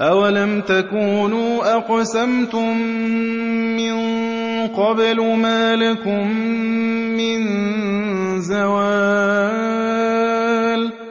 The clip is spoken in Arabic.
أَوَلَمْ تَكُونُوا أَقْسَمْتُم مِّن قَبْلُ مَا لَكُم مِّن زَوَالٍ